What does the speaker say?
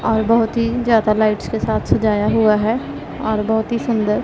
और बहोत ही ज्यादा लाइट्स के साथ सजाया हुआ है और बहोत ही सुंदर--